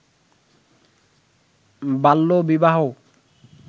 বাল্যবিবাহ